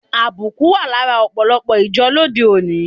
Àbùkù wa lára òpòlòpò ìjo lóde oni